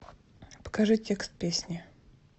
покажи текст песни